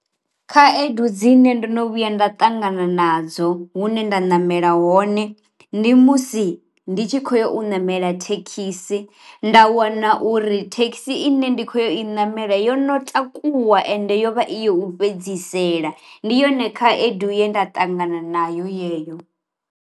Khaedu dzine ndo no vhuya nda ṱangana nadzo hune nda namela hone, ndi musi ndi tshi khoyo u namela thekhisi nda wana uri thekhisi i ne ndi kho yo i namela yo no takuwa ende yo vha iyo u fhedzisela ndi yone khaedu ye nda ṱangana nayo yeyo.